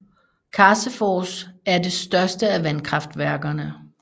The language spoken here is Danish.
Karsefors er det største af vandkraftværkerne